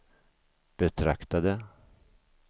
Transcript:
betraktade